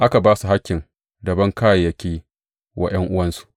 Aka ba su hakkin raban kayayyaki wa ’yan’uwansu.